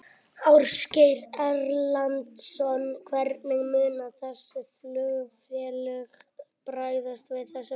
Ásgeir Erlendsson: Hvernig munu þessi flugfélög bregðast við þessu, veistu það?